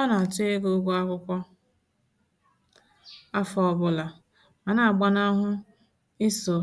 Ọ na àtụ́ ego ụgwọ akwụkwọ afọ ọbụla ma na-agbanahụ iso